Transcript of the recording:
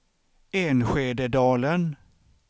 Enskededalen